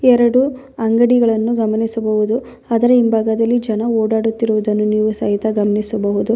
ಎರಡು ಅಂಗಡಿಗಳನ್ನು ಗಮನಿಸಬಹುದು ಅದರ ಹಿಂಭಾಗದಲ್ಲಿ ಜನ ಓಡಾಡುತಿರುವುದನ್ನು ನೀವು ಸಹಿತ ಗಮನಿಸಬಹುದು.